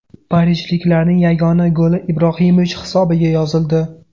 Parijliklarning yagona goli Ibrohimovich hisobiga yozildi.